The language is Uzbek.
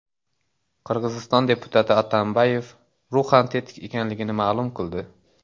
Qirg‘iziston deputati Atambayev ruhan tetik ekanligini ma’lum qildi.